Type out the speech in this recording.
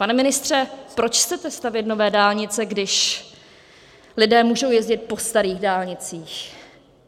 Pane ministře, proč chcete stavět nové dálnice, když lidé můžou jezdit po starých dálnicích?